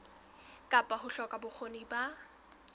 kapa ho hloka bokgoni ba